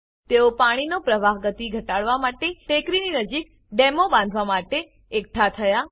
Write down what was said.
તેઓ પાણીનો પ્રવાહ ગતિ ઘટાડવા માટે ટેકરી નજીક ડેમો બાંધવા માટે એકઠાં થયા